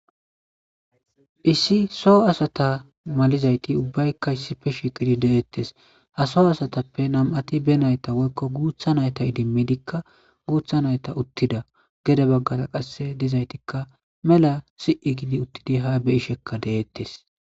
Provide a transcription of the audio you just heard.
issi soo asata malizayti ubbaykka issife shiiqidi deettes ha soo asatappe nam7ati be nayta woykko guutha nayta idimmidikka guutha nayta uttida gede baggara qasse dizaytikka mela si7i gidi uttidi ha beyishekka deeettes